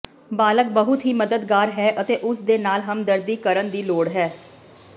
ਬਾਲਗ ਬਹੁਤ ਹੀ ਮਦਦਗਾਰ ਹੈ ਅਤੇ ਉਸ ਦੇ ਨਾਲ ਹਮਦਰਦੀ ਕਰਨ ਦੀ ਲੋੜ ਹੈ